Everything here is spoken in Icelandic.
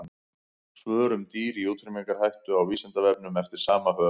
Svör um dýr í útrýmingarhættu á Vísindavefnum eftir sama höfund.